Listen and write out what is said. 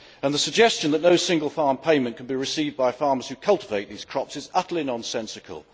The suggestion that no single farm payment can be received by farmers who cultivate these crops is utterly nonsensical.